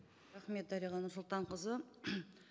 рахмет дариға нұрсұлтанқызы